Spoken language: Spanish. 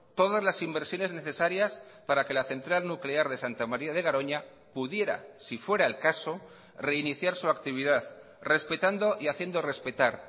todas las inversiones necesarias para que la central nuclear de santa maría de garoña pudiera si fuera el caso reiniciar su actividad respetando y haciendo respetar